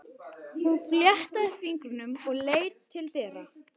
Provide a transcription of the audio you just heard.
Hún fléttaði fingurna og leit til dyra.